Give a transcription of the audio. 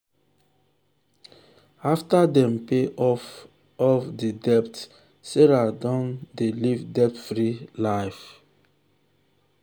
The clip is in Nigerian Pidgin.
after dem pay off off di debt sarah don dey live debt free life.